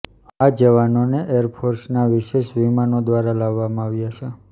આ જવાનોને એરફોર્સના વિશેષ વિમાન દ્વારા લાવવામા આવ્યા છે